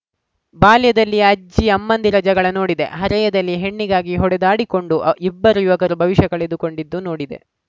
ಬಾಲ್ಯದಲ್ಲಿ ಅಜ್ಜಿಅಮ್ಮಂದಿರ ಜಗಳ ನೋಡಿದೆ ಹರೆಯದಲ್ಲಿ ಹೆಣ್ಣಿಗಾಗಿ ಹೊಡೆದಾಡಿಕೊಂಡು ಇಬ್ಬರು ಯುವಕರು ಭವಿಷ್ಯ ಕಳೆದುಕೊಂಡಿದ್ದು ನೋಡಿದೆ